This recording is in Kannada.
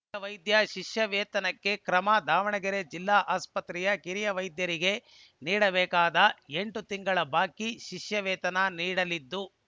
ಕಿರಿಯ ವೈದ್ಯರ ಶಿಷ್ಯ ವೇತನಕ್ಕೆ ಕ್ರಮ ದಾವಣಗೆರೆ ಜಿಲ್ಲಾ ಆಸ್ಪತ್ರೆಯ ಕಿರಿಯ ವೈದ್ಯರಿಗೆ ನೀಡಬೇಕಾದ ಎಂಟು ತಿಂಗಳ ಬಾಕಿ ಶಿಷ್ಯ ವೇತನ ನೀಡಲಿದ್ದು